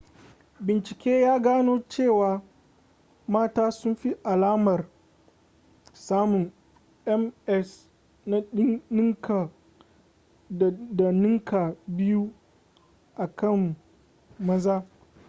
bincike ya gano cewa mata sun fi alamar samun ms da ninka biyu a kan maza